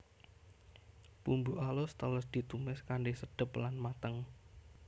Bumbu alus teles ditumis kanthi sedep lan mateng